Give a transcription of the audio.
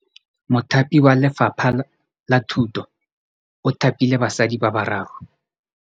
Mothapi wa Lefapha la Thutô o thapile basadi ba ba raro.